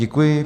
Děkuji.